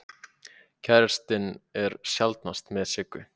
Kærastinn er sjaldnast með Siggu.